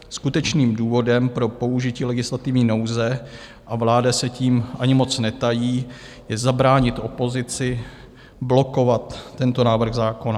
Skutečným důvodem pro použití legislativní nouze, a vláda se tím ani moc netají, je zabránit opozici blokovat tento návrh zákona.